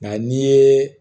Nka n'i ye